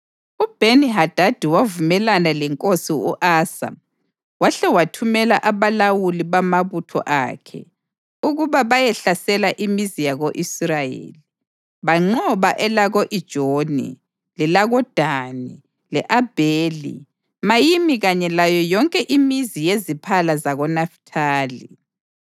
UBheni-Hadadi wavumelana lenkosi u-Asa wahle wathumela abalawuli bamabutho akhe ukuba bayehlasela imizi yako-Israyeli. Banqoba elako-Ijoni, lelakoDani le-Abheli-Mayimi kanye layo yonke imizi yeziphala zakoNafithali.